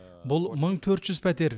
бұл мың төрт жүз пәтер